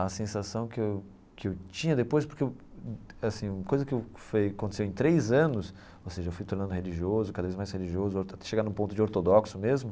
A sensação que eu que eu tinha depois, porque eu, assim, coisa que eu aconteceu em três anos, ou seja, eu fui tornando religioso, cada vez mais religioso, até chegar num ponto de ortodoxo mesmo.